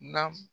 Na